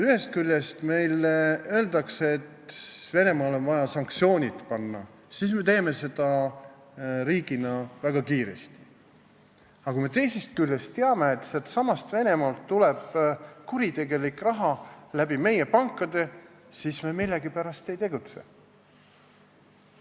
Kui öeldakse, et Venemaa vastu on vaja sanktsioonid kehtestada, siis me teeme seda riigina väga kiiresti, aga kui me teame, et sealtsamalt Venemaalt tuleb kuritegelik raha meie pankadesse, siis me millegipärast ei tegutse.